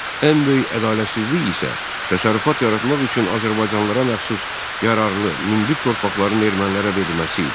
Ən böyük ədalətsizlik isə təsərrüfat yaratmaq üçün azərbaycanlılara məxsus yararlı münbit torpaqların ermənilərə verilməsi idi.